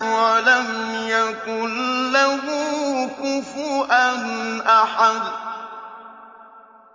وَلَمْ يَكُن لَّهُ كُفُوًا أَحَدٌ